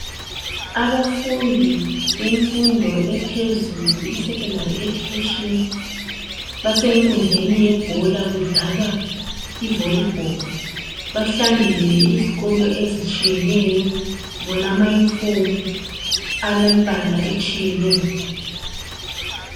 Abafundi bemfundo yaphezulu eyesekhondari basenkundleni yebhola badlala ivolibholu. Bahlangene izikolo ezitshiyeneyo sibona iyunifomu yemibala etshiyeneyo.